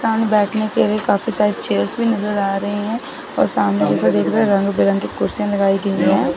सामने बैठने के लिए काफी सारी चेयर्स भी नजर आ रही हैं और सामने जैसा रंग बिरंगी कुर्सियां लगाई गई हैं।